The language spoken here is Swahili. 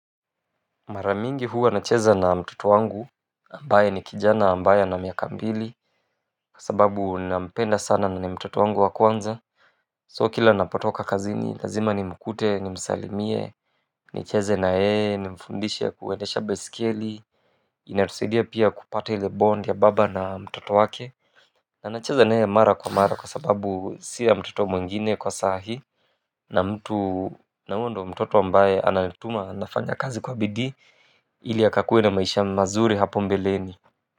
Mara mingi huwa nacheza na mtoto wangu ambaye ni kijana ambaye ana miaka mbili kwa sababu ninampenda sana nani mtoto wangu wa kwanza. So kila napotoka kazini lazima nimkute nimsalimie. Nicheze na yeye nimfundishe kuendesha baiskeli. Inatusidia pia kupata ile bond ya baba na mtoto wake na nacheza naye mara kwa mara kwa sababu sio ya mtoto mwingine kwa sahii na mtu na huyo ndo mtoto ambaye anatuma nafanya kazi kwa bidii ili akakuwe na maisha mazuri hapo mbeleni.